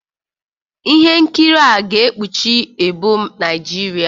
Ihe nkiri a ga-ekpuchi ebo Naijiria